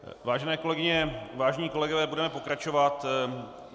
Vážené kolegyně, vážení kolegové, budeme pokračovat.